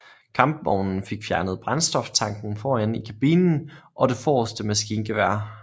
Kampvognen fik fjernet brændstoftanken foran i kabinen og det forreste maskingevær